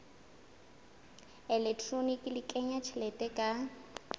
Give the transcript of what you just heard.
elektroniki le kenya tjhelete ka